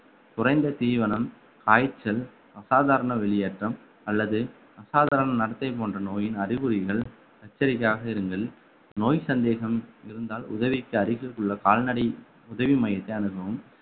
குறைந்த தீவனம் காய்ச்சல் அசாதாரண வெளியேற்றம் அல்லது அசாதாரண நடத்தை போன்ற நோயின் அறிகுறிகள் எச்சரிக்கையாக இருங்கள் நோய் சந்தேகம் இருந்தால் உதவிக்கு அருகில் உள்ள கால்நடை உதவி மையத்தை அணுகவும்